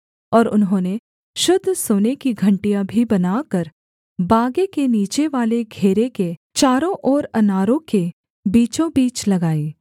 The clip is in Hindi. और उन्होंने शुद्ध सोने की घंटियाँ भी बनाकर बागे के नीचेवाले घेरे के चारों ओर अनारों के बीचों बीच लगाई